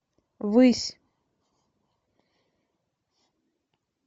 высь